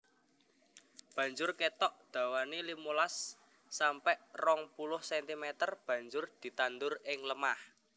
Banjur kethok dawané limolas sampe rong puluh sentimeter banjur ditandur ing lemah